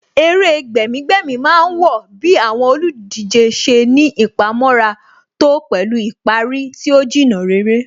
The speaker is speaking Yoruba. Eré gbẹ̀mí-gbẹ̀mí má ń wọ bí àwọn olùdíje ṣe ní ìpamọ́ra tó pẹ̀lú ìparí tí ó Jìnnà réré